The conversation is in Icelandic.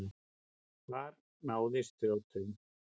Hvar náðist þrjóturinn?